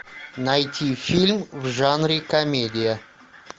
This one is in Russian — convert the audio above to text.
найти фильм в жанре комедия